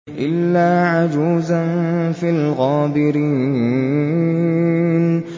إِلَّا عَجُوزًا فِي الْغَابِرِينَ